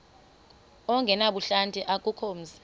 ongenabuhlanti akukho mzi